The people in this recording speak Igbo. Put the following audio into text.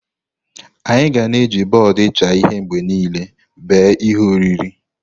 Anyị ga na-eji bọọdụ ịcha ihe mgbe niile bee ihe oriri.